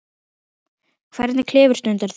Hvernig klifur stundar þú?